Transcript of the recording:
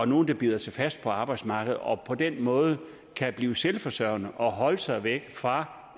nogle der bider sig fast på arbejdsmarkedet og på den måde blive selvforsørgende og holde sig væk fra